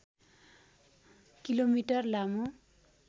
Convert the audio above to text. kilometre लामो